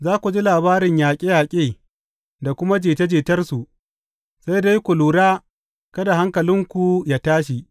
Za ku ji labarin yaƙe yaƙe da kuma jita jitarsu, sai dai ku lura kada hankalinku yă tashi.